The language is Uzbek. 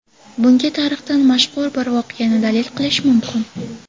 Bunga tarixdan mashhur bir voqeani dalil qilish mumkin.